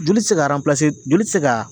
Joli ti se ka aranpilase joli ti se ka